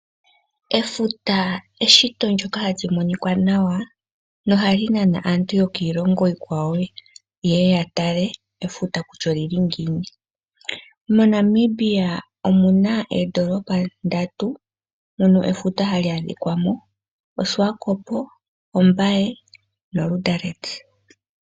Efuta eshito ndyoka hali moka nawa nohali nana aantu yokiilongo iikwawo yeye yatale efuta kutya oli li ngiini. MoNamibia omuna oondoolopa ndatu mono efuta hali adhikwamo Oshiwakopo, Ombaye noLiindili.